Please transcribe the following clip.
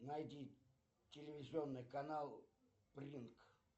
найди телевизионный канал принк